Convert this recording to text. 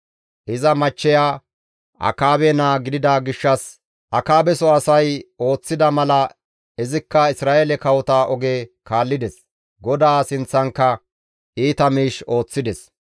Iza machcheya Akaabe naa gidida gishshas Akaabeso asay ooththida mala izikka Isra7eele kawota oge kaallides; GODAA sinththankka iita miish ooththides.